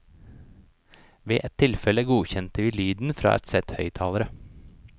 Ved et tilfelle godkjente vi lyden fra ett sett høyttalere.